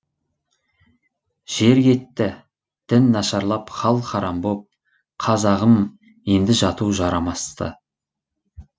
жер кетті дін нашарлап хал һарам боп қазағым енді жату жарамасты